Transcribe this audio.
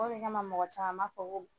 O de kama mɔgɔ caman m'a fɔ ko